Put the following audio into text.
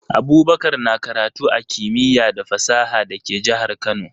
Abubakar na karatu a Kimiya da fasaha da ke jahar Kano